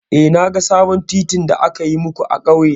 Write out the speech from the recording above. Eh, na ga sabon titin da aka yi muku a ƙauye.